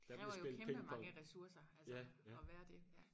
Det kræver jo kæmpe mange resurser altså at være det ja